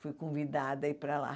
Fui convidada a ir para lá.